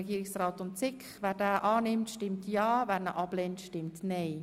Wer ihn annimmt, stimmt ja, wer ihn ablehnt, stimmt nein.